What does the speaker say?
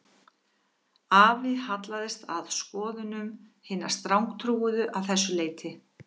Afi hallaðist að skoðunum hinna strangtrúuðu að þessu leyti